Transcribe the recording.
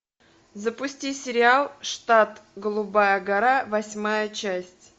запусти сериал штат голубая гора восьмая часть